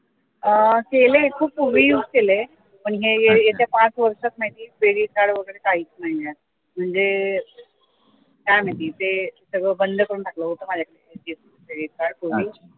अं केलंय खूप पूर्वी केलंय पण येत्या पाच वर्षात credit card वगैरे काहीच नाहीये म्हणजे काय माहिती ते सगळं बंद करून टाकलं होत होत माझ्याकडे credit card पूर्वी